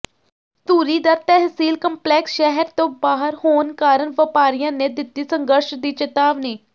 ਧੂਰੀ ਦਾ ਤਹਿਸੀਲ ਕੰਪਲੈਕਸ ਸ਼ਹਿਰ ਤੋਂ ਬਾਹਰ ਹੋਣ ਕਾਰਨ ਵਪਾਰੀਆਂ ਨੇ ਦਿੱਤੀ ਸੰਘਰਸ਼ ਦੀ ਚੇਤਾਵਨੀ